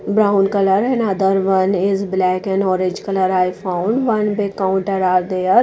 brown colour and other one is black and orange colour i found one bay counter are there.